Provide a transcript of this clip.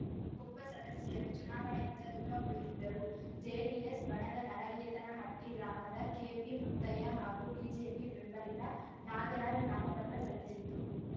ಒಬ್ಬ ಸದಸ್ಯರು ಚುನಾವಣೆಯಿಂದ ದೂರ ಉಳಿದಿದ್ದರುಜೆಡಿಎಸ್‌ ಬಣದ ನಲಗೇತನಹಟ್ಟಿಗ್ರಾಮದ ಕೆಪಿಮುತ್ತಯ್ಯ ಹಾಗೂ ಬಿಜೆಪಿ ಬೆಂಬಲಿತ ನಾಗರಾಜ ನಾಮಪತ್ರ ಸಲ್ಲಿಸಿದ್ದು